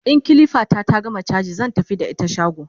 in kilifa ta ta gama chaji zan tafi da ita shago